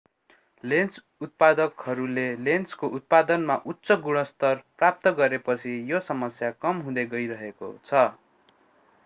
lens उत्पादकहरूले लेन्सको उत्पादनमा उच्च गुणस्तर प्राप्त गरेपछि यो समस्या कम हुँदै गइरहेको छ